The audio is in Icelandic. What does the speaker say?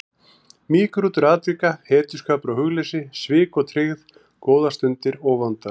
Mýgrútur atvika, hetjuskapur og hugleysi, svik og tryggð, góðar stundir og vondar.